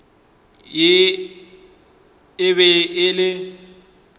ye e be e le